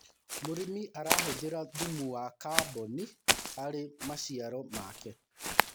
mũrĩmi arahuthira thumu ya carbon harĩ maciaro make